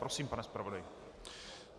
Prosím, pane zpravodaji.